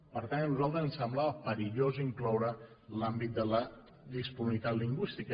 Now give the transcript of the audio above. per tant a nosaltres ens semblava perillós incloure l’àmbit de la disponibilitat lingüística